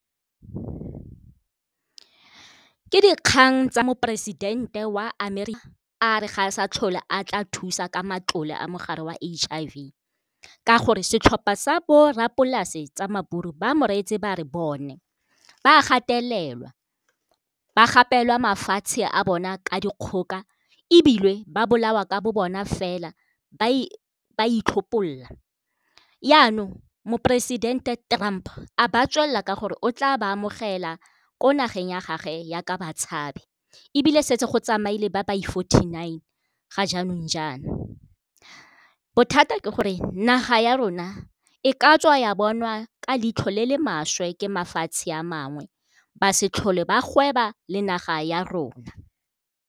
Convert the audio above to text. Ke dikgang tsa moporesidente wa Amerika a re ga e sa tlhole a tla thusa ka matlole a mogare wa H_I_V. Ka gore setlhopa sa bo rrapolase tsa maburu ba mo reetse ba re bone ba gatelelwa, ba gapelwa mafatshe a bona ka dikgoka ebile ba bolawa ka bo bona fela ba itlhopholola. Yaanong moporesidente Trump a ba tswelela ka gore o tla ba amogela ko nageng ya gage yaka batshabi. Ebile setse go tsamaile le ba ba fourty-nine, ga jaanong jana, bothata ke gore naga ya rona e ka tswa ya bonwa ka leitlho le le maswe ke mafatshe a mangwe ba se tlhole ba gweba le naga ya rona.